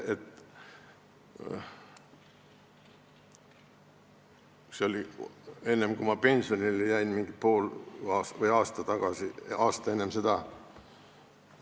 See juhtus enne, kui ma pensionile jäin, umbes pool aastat või aasta enne seda.